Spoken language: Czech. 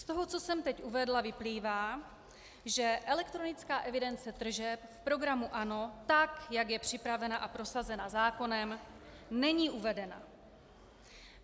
Z toho, co jsem teď uvedla, vyplývá, že elektronická evidence tržeb v programu ANO, tak jak je připravena a prosazena zákonem, není uvedena.